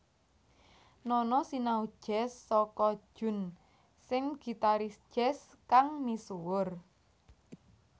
Nono sinau jazz saka Jun Sen gitaris jazz kang misuwur